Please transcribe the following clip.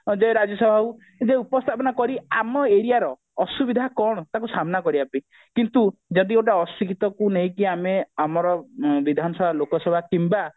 ଯେ ରାଜ୍ୟସଭାକୁ ଉପସ୍ଥାପନ କରି ଆମ area ର ଅସୁବିଧା କଣ ତାକୁ ସାମ୍ନା କରିବା ପାଇଁ କିନ୍ତୁ ଯଦି ଗୋଟେ ଅଶିକ୍ଷିତ କୁ ନେଇକି ଆମେ ଆମର ବିଧାନସଭା ଲୋକସଭା କିମ୍ବା